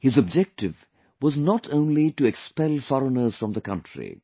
His objective was not only to expel foreigners from the country,